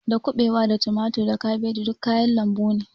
Da kuɓewa da tumatir da kabeji duk kayan lambu ne